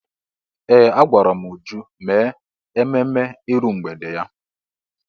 Ee! Agwara m Uju mee ememme iru mgbede ya.